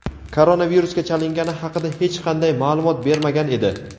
koronavirusga chalingani haqida hech qanday ma’lumot bermagan edi.